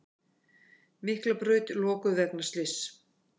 Miklabraut lokuð vegna slyss